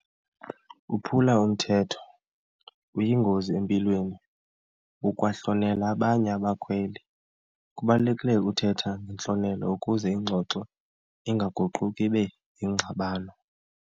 Uphula umthetho uyingozi empilweni, ukwahlonela abanye abakhweli. Kubalulekile ukuthetha ngentlonelo ukuze ingxoxo ingaguquki ibe yingxabano.